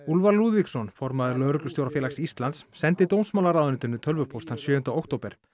Úlfar Lúðvíksson formaður Lögreglustjórafélags Íslands sendi dómsmálaráðuneytinu tölvupóst þann sjöunda október